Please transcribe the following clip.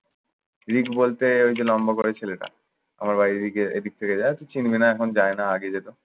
ঋক বলতে ওই যে লম্বা করে ছেলেটা আমার বাড়ির এদিকে এদিক থেকে চিনবি না। এখন যায় না, আগে যেত।